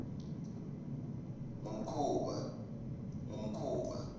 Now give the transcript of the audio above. kungumkhuba